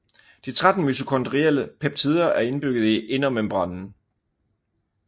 De 13 mitokondrielle peptider er indbygget i indermembranen